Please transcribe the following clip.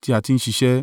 tí a ti ń ṣiṣẹ́.